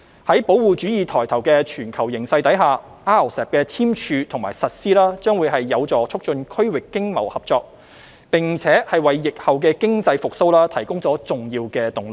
在保護主義抬頭的全球形勢下 ，RCEP 的簽署和實施將有助促進區域經貿合作，並為疫後經濟復蘇提供重要動力。